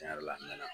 Tiɲɛ yɛrɛ la a nana